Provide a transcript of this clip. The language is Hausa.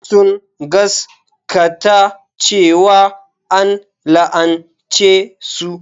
Sun gaskata cewa an la'ance su.